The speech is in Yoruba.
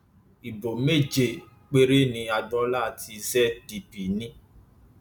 ibo méje péré ni agboola tí zdp ní